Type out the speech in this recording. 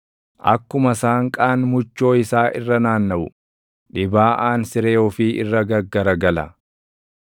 Akkuma saanqaan muchoo isaa irra naannaʼu, dhibaaʼaan siree ofii irra gaggaragala